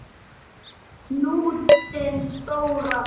Hnútinn stóra.